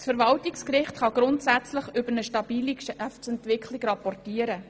Das Verwaltungsgericht kann grundsätzlich über eine stabile Geschäftsentwicklung rapportieren.